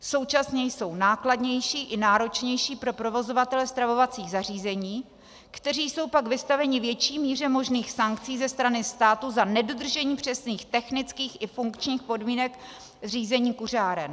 Současně jsou nákladnější i náročnější pro provozovatele stravovacích zařízení, kteří jsou pak vystaveni větší míře možných sankcí ze strany státu za nedodržení přesných technických i funkčních podmínek zřízení kuřáren.